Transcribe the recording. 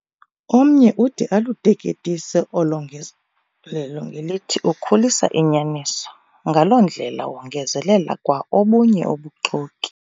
Omnye ude aluteketise olo ngezelelo ngelithi ukhulisa inyaniso. ngaloo ndlela wongezelela kwa obunye ubuxoki.